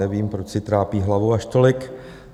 Nevím, proč si trápí hlavu až tolik.